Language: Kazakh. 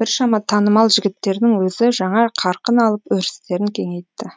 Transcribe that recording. біршама танымал жігіттердің өзі жаңа қарқын алып өрістерін кеңейтті